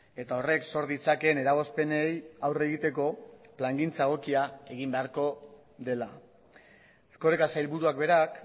eta horrek sor ditzakeen eragozpenei aurre egiteko plangintza egokia egin beharko dela erkoreka sailburuak berak